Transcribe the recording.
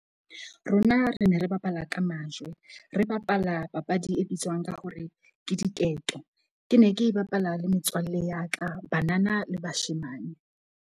Rona re ne re bapala ka majwe. Re bapala papadi e bitswang ka hore ke diketo. Ke ne ke e bapala le metswalle ya ka, banana le bashemane.